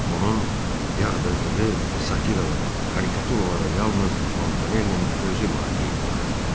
Onun yağdırdığı satiralara, karikaturalara yalnız Montanellinin özü laqeyd baxırdı.